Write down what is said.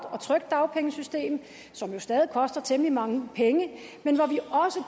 og trygt dagpengesystem som jo stadig koster temmelig mange penge men